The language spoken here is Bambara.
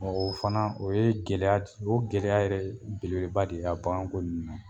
O fana o ye gɛlɛya d o gɛlɛya yɛrɛ belebeleba de a bagan ko ninnu na.